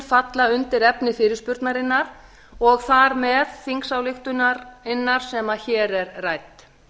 falla undir efni fyrirspurnarinnar og þar með þingsályktunarinnar sem hér er rædd